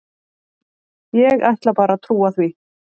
Ég ætla bara að trúa því.